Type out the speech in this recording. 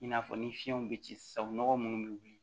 I n'a fɔ ni fiɲɛw be ci sabu nɔgɔ munnu be wuli